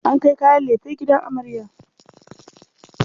An kai kayan lefe gidan amarya.